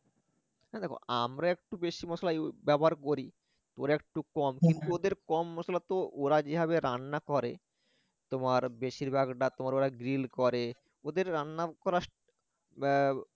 না দেখ আমরা একটু বেশি ব্যবহার করি ওরা একটু কম কিন্তু ওদের কম মসলা তো ওরা যেভাবে রান্না করে তোমার বেশিরভাগটা তোমার ওরা grill করে ওদের রান্না করার এর